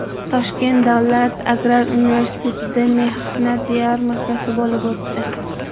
Toshkent davlat agrar universitetida mehnat yarmarkasi bo‘lib o‘tdi.